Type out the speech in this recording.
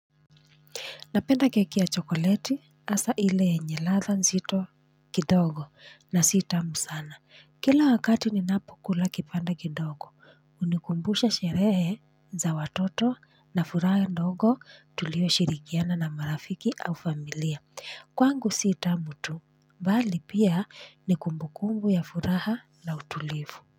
Napenda keki ya chokoleti hasa ile yenye ladha nzito kidogo na sitamu sana. Kila wakati ninapokula kipande kidogo, unikumbusha sherehe za watoto na furaha ndogo tulioshirikiana na marafiki au familia. Kwangu sitamu tu, mbali pia ni kumbukumbu ya furaha na utulivu.